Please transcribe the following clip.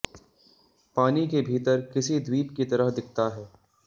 पानी के भीतर किसी द्वीप की तरह दिखता है